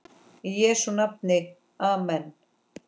Í Jesú nafni amen.